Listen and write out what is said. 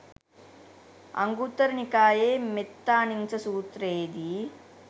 අංගුත්තර නිකායේ මෙත්තානිංස සූත්‍රයේදී